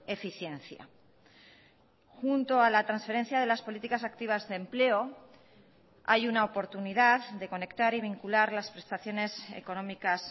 eficiencia junto a la transferencia de las políticas activas de empleo hay una oportunidad de conectar y vincular las prestaciones económicas